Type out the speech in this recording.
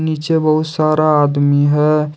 नीचे बहुत सारा आदमी है।